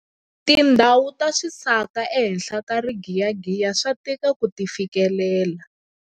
Tindhawu ta swisaka ehenhla ka rigiyagiya swa tika ku ti fikelela.